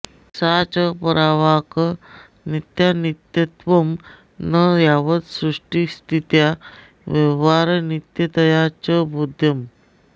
सा च परावाक् नित्या नित्यत्वं न यावत्सृष्टिस्थित्या व्यवहारनित्यतया च बोध्यम्